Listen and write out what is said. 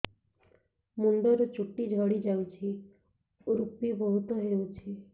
ମୁଣ୍ଡରୁ ଚୁଟି ଝଡି ଯାଉଛି ଋପି ବହୁତ ହେଉଛି